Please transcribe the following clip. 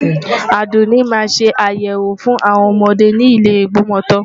Àdùnní máa ṣe ayẹwo fún àwọn ọmọdé ni ile Ìgbọmọtọ́.